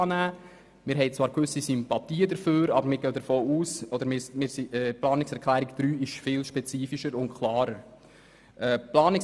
Wir haben zwar gewisse Sympathien dafür, denken aber, dass die Planungserklärung 3 spezifischer und klarer ist.